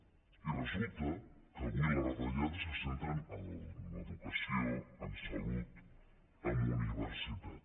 i resulta que avui les retallades se centren en educació en salut en universitat